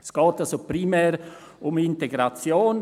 Es geht also primär um Integration.